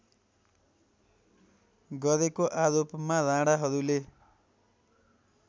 गरेको आरोपमा राणाहरूले